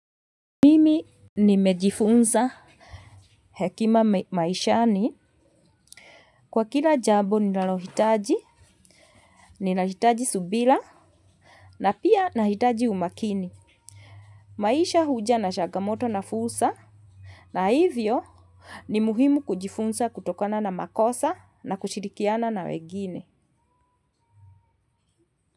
Mimi nimejifunza hekima maishani kwa kila jambo ninalohitaji, ninahitaji subira na pia nahitaji umakini. Maisha huja na changamoto na fursa na hivyo ni muhimu kujifunza kutokana na makosa na kushirikiana na wengine.